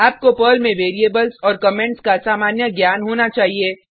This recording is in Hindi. आपको पर्ल में वेरिएबल्स और कमेंट्स का सामान्य ज्ञान होना चाहिए